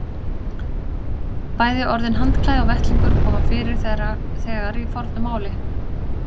Bæði orðin handklæði og vettlingur koma fyrir þegar í fornu máli.